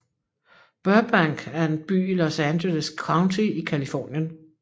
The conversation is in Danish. Burbank er en by i Los Angeles County i Californien